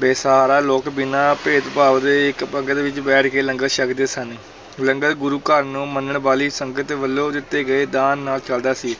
ਬੇਸਹਾਰਾ ਲੋਕ ਬਿਨਾਂ ਭੇਦਭਾਵ ਦੇ ਇੱਕ ਪੰਗਤ ਵਿੱਚ ਬੈਠ ਕੇ ਲੰਗਰ ਛਕਦੇ ਸਨ, ਲੰਗਰ ਗੁਰੂ ਘਰ ਨੂੰ ਮੰਨਣ ਵਾਲੀ ਸੰਗਤ ਵੱਲੋਂ ਦਿੱਤੇ ਗਏ ਨੂੰ ਦਾਨ ਨਾਲ ਚਲਦਾ ਸੀ